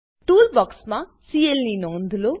tool બોક્ક્ષમાં CL ની નોંધ લો